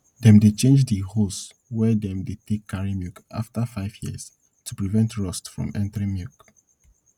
dem dey change de hose wey dem dey take carry milk afta five years to prevent rust from entering milk